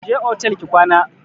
Je otel ki kwana!